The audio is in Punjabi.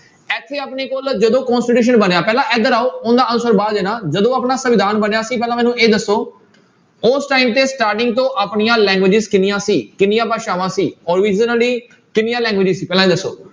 ਇੱਥੇ ਆਪਣੇ ਕੋਲ ਜਦੋਂ constitution ਬਣਿਆ ਪਹਿਲਾਂ ਇੱਧਰ ਆਓ ਉਹਦਾ answer ਬਾਅਦ ਦੇਣਾ ਜਦੋਂ ਆਪਣਾ ਸੰਵਿਧਾਨ ਬਣਿਆ ਸੀ ਪਹਿਲਾਂ ਮੈਨੂੰ ਇਹ ਦੱਸੋ ਉਸ time ਤੇ starting ਤੋਂ ਆਪਣੀਆਂ languages ਕਿੰਨੀਆਂ ਸੀ ਕਿੰਨੀਆਂ ਭਾਸ਼ਾਵਾਂ ਸੀ ਕਿੰਨੀਆਂ languages ਸੀ ਪਹਿਲਾਂ ਇਹ ਦੱਸੋ।